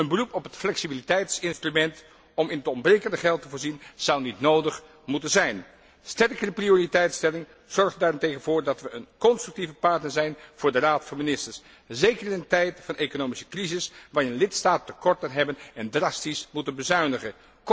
Een beroep op het flexibiliteitsinstrument om in het ontbrekende geld te voorzien, zou niet nodig moeten zijn. Sterkere prioriteitstelling zorgt er daarentegen voor dat we een constructieve partner zijn voor de Raad van ministers, zeker in een tijd van economische crisis waarin lidstaten tekorten hebben en drastisch moeten bezuinigen.